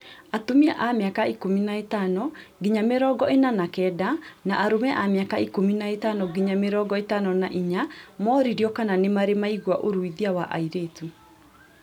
Atumia a miaka ikũmi na ĩtano nginya mĩrongo ĩna na kenda na arũme a mĩaka ikũmi na ĩtano nginya mĩrongo ĩtano na inya mooririo kana nĩmarĩ maigua ũruithia wa airĩtu